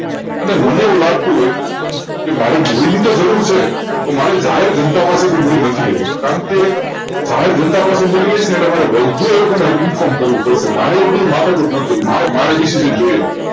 અને મને એવું લાગતું હોય મારે મુડીની જરૂર છે મારે જાહેર જનતા પાસે મુડી નથી લેવી કારણકે જાહેર જનતા પાસેથી લઈએ છીએ તો બધુ inform કરવું પડશે મારે અરે એ બધી માથાકૂટ નથી જોઈતી